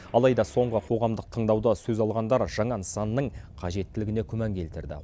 алайда соңғы қоғамдық тыңдауда сөз алғандар жаңа нысанның қажеттілігіне күмән келтірді